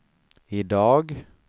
idag